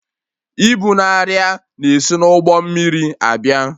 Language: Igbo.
Ibu na arịa na-esi n'ụgbọ mmiri abịa